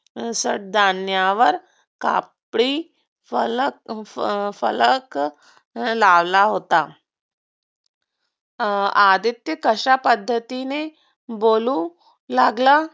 सदण्यावर कापडी फलक फलक लावला होता. आदित्य कश्या पद्धतीने बोलू लागला?